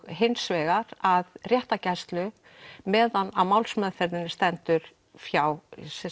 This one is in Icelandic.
hins vegar að réttargæslu meðan á málsmeðferðinni stendur hjá